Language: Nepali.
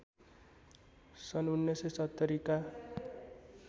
सन् १९७० का